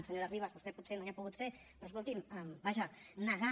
senyora ribas vostè potser no hi ha pogut ser però escolti’m vaja negar